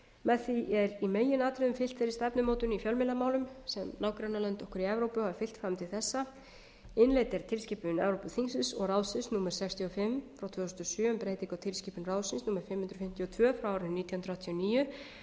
með því er í meginatriðum fylgt þeirri stefnumótun í fjölmiðlamálum sem nágrannalönd okkar í evrópu hafa fylgt fram til þessa innleidd er tilskipun evrópuþingsins og ráðsins númer sextíu og fimm tvö þúsund og sjö um breytingu á tilskipun ráðsins númer fimm hundruð fimmtíu og tvö nítján hundruð áttatíu og níu